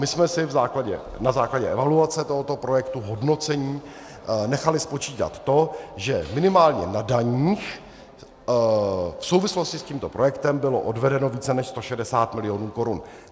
My jsme si na základě evaluace tohoto projektu, hodnocení, nechali spočítat to, že minimálně na daních v souvislosti s tímto projektem bylo odvedeno více než 160 mil. korun.